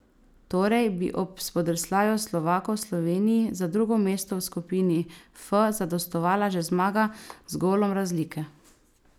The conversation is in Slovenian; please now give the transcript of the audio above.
Torej bi ob spodrsljaju Slovakov Sloveniji za drugo mesto v skupini F zadostovala že zmaga z golom razlike.